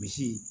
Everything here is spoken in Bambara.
Misi